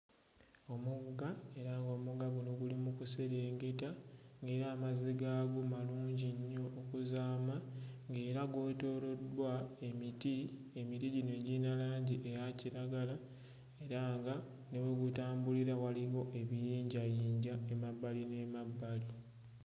Omugga era ng'omugga guno guli mu kuserengeta ng'era amazzi gaago malungi nnyo okuzaama ng'era gwetooloddwa emiti emiti gino egiyina langi eya kiragala era nga ne we gutambulira waliwo ebiyinjayinja emabbali n'emabbali.